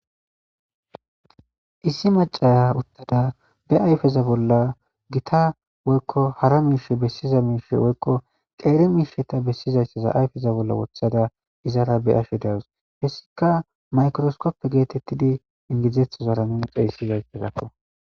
Issi macaya uttada be ayfeza bolla gita woykko hara miishe bessiza miishe woykko qeeri miisheta bessizayeza ayfeza bolla wothada izara be ashe dawus hessika maykroskoppe geetettidi ingizdzethozara nuni xeyssizayezakko.